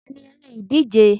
Ọ̀la ni eré ìdíje.